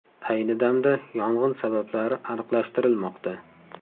Ayni damda yong‘in sabablari aniqlashtirilmoqda.